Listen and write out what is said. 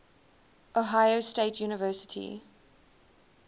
ohio state university